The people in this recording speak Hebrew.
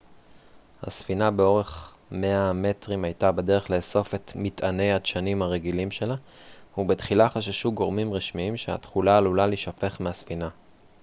הספינה באורך 100 המטרים הייתה בדרך לאסוף את מטעני הדשנים הרגילים שלה ובתחילה חששו גורמים רשמיים שהתכולה עלולה להישפך מהספינה